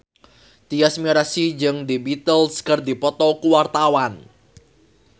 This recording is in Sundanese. Tyas Mirasih jeung The Beatles keur dipoto ku wartawan